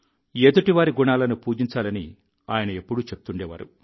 ఎదుటివారి గుణాలను పూజించాలని ఆయన ఎప్పుడూ చెప్తుండేవారు